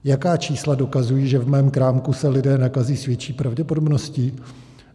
Jaká čísla dokazují, že v mém krámku se lidé nakazí s větší pravděpodobností?